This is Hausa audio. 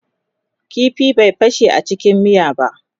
ƙifin bai fashe a cikin miya ba